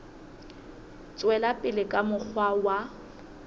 tswela pele ka mokgwa wa